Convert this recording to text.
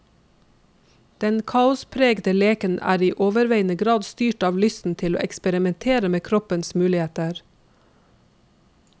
Den kaospregete leken er i overveiende grad styrt av lysten til å eksperimenter med kroppens muligheter.